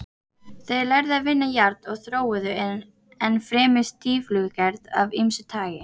Þeir lærðu að vinna járn og þróuðu enn fremur stíflugerð af ýmsu tagi.